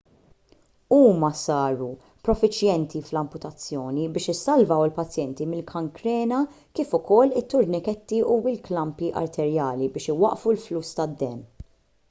huma saru profiċjenti fl-amputazzjoni biex isalvaw il-pazjenti mill-kankrena kif ukoll it-turniketti u l-klampi arterjali biex iwaqqfu l-fluss tad-demm